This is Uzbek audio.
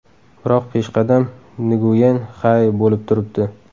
Biroq peshqadam Nguyen Xai bo‘lib turibdi.